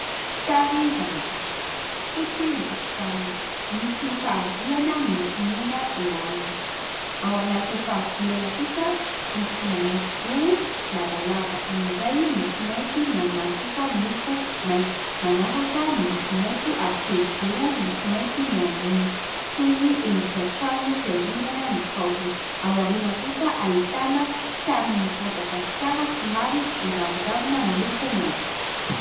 sary famantarana fotsy ny tokotaniny misy fari-bolana milokomena eo aminy ao anatin'ny faribolana kosa misy mahitsizoro lavalava ny iray miloko mainty ny eo ambany kosa miloko maintso manaraka miloko maintso ary telozoro miloko mainty ny eo amboniny toy ny endrika trano fiangonana ny paoziny ao aoriana kosa ahitana sarin'ny madagasikara somary manjavon-javona miloko maintso